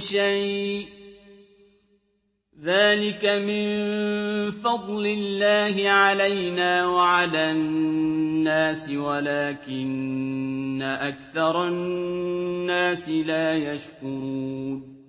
شَيْءٍ ۚ ذَٰلِكَ مِن فَضْلِ اللَّهِ عَلَيْنَا وَعَلَى النَّاسِ وَلَٰكِنَّ أَكْثَرَ النَّاسِ لَا يَشْكُرُونَ